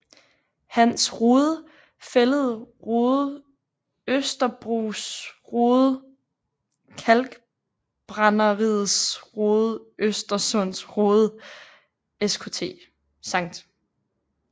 Hans Rode Fælled Rode Østerbros Rode Kalkbrænderiets Rode Øresunds Rode Skt